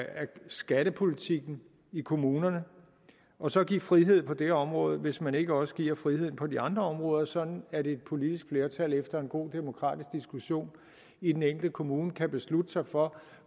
skattepolitikken i kommunerne og så give frihed på det område hvis man ikke også giver friheden på de andre områder sådan at et politisk flertal efter en god demokratisk diskussion i den enkelte kommune kan beslutte sig for